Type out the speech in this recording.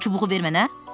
O çubuğu ver mənə.